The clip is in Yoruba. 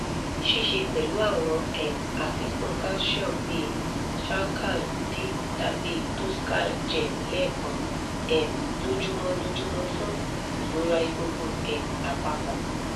sise pelu awon um afikun calcium bi shalcal-d tabi toscal-gem lekan um lojumo lojumo fun irora egungun um apapo